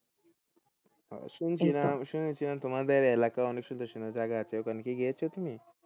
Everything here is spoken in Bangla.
শুনেছিলাম তোমাদের এলাকাই অনেক সুন্দর সুন্দর জায়গা আছে ওই খানে কি গিয়েছো তুমি?